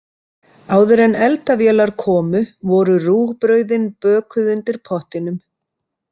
Áður en eldavélar komu, voru rúgbrauðin bökuð undir pottinum.